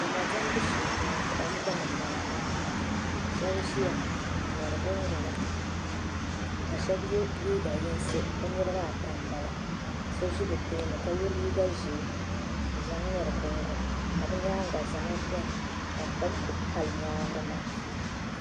Diɛma diɛmbu shee m-bɔŋɔ kom gbuni m-bala maa shɛba ʒiya n-ŋmɛri gungɔna ka shɛba ye liiga yinsi bɛ niriba ata ka so ʒi bɛ tooni ka ye liiga ʒee ka bɛ nyaaŋa zama beni ka kom kuli pali nyaaŋa